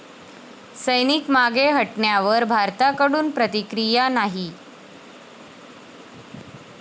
सैनिक मागे हटण्यावर भारताकडून प्रतिक्रिया नाही.